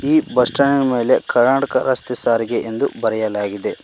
ಈ bus stand ಮೇಲೆ ಕರ್ನಾಟಕ ರಸ್ತೆ ಸಾರಿಗೆ ಎಂದು ಬರೆಯಲಾಗಿದೆ.